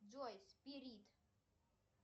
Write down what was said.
джой спирит